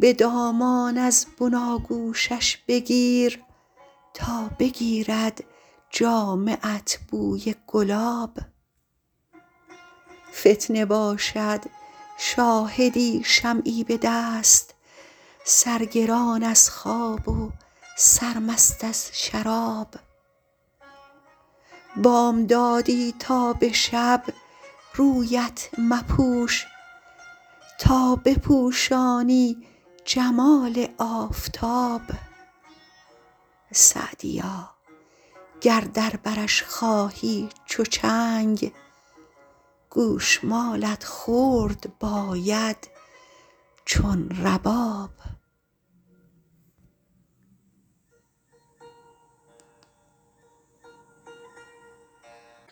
به دامان از بناگوشش بگیر تا بگیرد جامه ات بوی گلاب فتنه باشد شاهدی شمعی به دست سرگران از خواب و سرمست از شراب بامدادی تا به شب رویت مپوش تا بپوشانی جمال آفتاب سعدیا گر در برش خواهی چو چنگ گوش مالت خورد باید چون رباب